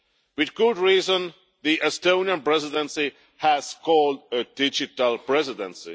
With good reason, the Estonian Presidency has been called a digital presidency.